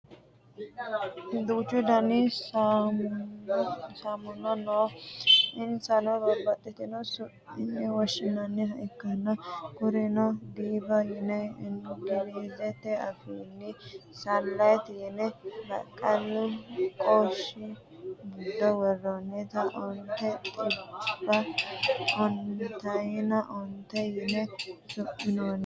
Duuchu Dani saamunna no. Insano babbaxino su'minni woshshinanniha ikkanna kurino diva yine ingilizete afiinni, sunlight yine baqqalu qoshi giddo woreenna onte xibbe ontayina onte yine su'minoonnireeti.